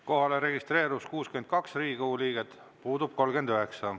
Kohalolijaks registreerus 62 Riigikogu liiget, puudub 39.